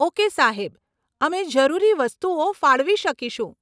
Okay સાહેબ, અમે જરૂરી વસ્તુઓ ફાળવી શકીશું.